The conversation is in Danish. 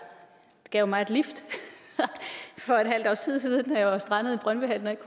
gav mig et lift for et halvt års tid siden da jeg var strandet i brøndby hallen og ikke